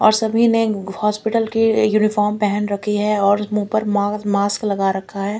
और सभी ने हॉस्पिटल की यूनिफार्म पहन रखी है और मुंह पर मा मास्क लगा रखा है।